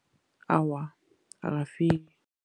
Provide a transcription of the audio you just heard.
Awa, akafiki.